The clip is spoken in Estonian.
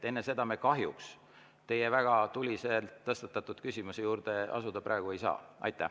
Enne seda me kahjuks teie väga tuliselt tõstatatud küsimuse juurde asuda ei saa.